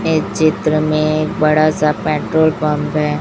इस चित्र में एक बड़ा सा पेट्रोल पंप है।